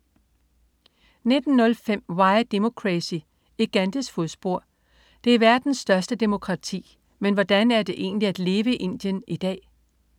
19.05 Why Democracy: I Gandhis fodspor. Det er verdens største demokrati, men hvordan er det egentlig at leve i Indien i dag?